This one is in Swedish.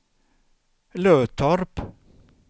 Löttorp